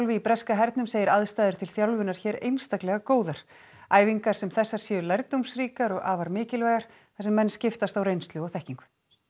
í breska hernum segir aðstæður til þjálfunar hér einstaklega góðar æfingar sem þessar séu lærdómsríkar og afar mikilvægar þar sem menn skiptast á reynslu og þekkingu